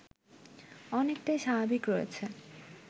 অনেকটাই স্বাভাবিক রয়েছে